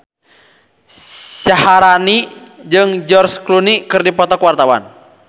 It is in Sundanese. Syaharani jeung George Clooney keur dipoto ku wartawan